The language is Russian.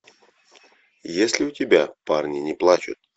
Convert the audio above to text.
есть ли у тебя парни не плачут